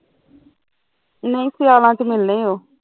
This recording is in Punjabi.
ਨਹੀਂ ਸਿਆਲਾਂ ਚ ਮਿਲਣੇ ਉਹ